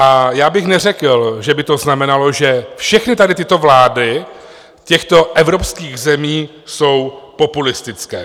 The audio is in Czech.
A já bych neřekl, že by to znamenalo, že všechny tady tyto vlády těchto evropských zemí jsou populistické.